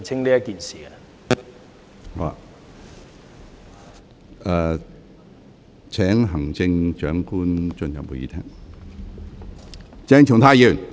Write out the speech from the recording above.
我現在請行政長官進入會議廳。